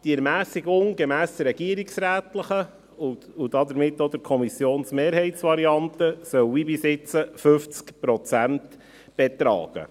Die Ermässigung soll, gemäss der regierungsrätlichen und damit auch der Kommissionsmehrheitsvariante, wie bisher 50 Prozent betragen.